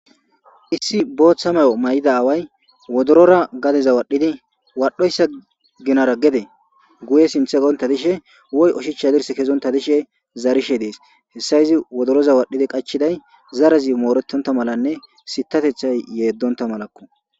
Issi booththa mayo may7ida aaway wodorora gadeza waadhdhidi wadhoyssa ginara gede guye sinththe dafishe woy ushichcha haddirssa kezonththa dishe zaarishe de7ees; hessa izi wodoroza wadhidi qachchiday zarazi mooreththontha malanne sithathethay yeeddonththa malakku.